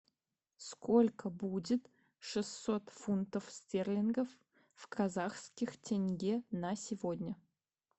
сколько будет шестьсот фунтов стерлингов в казахских тенге на сегодня